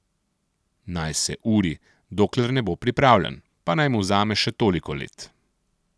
Naj se uri, dokler ne bo pripravljen, pa naj mu vzame še toliko let.